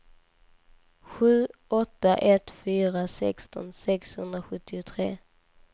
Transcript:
sju åtta ett fyra sexton sexhundrasjuttiotre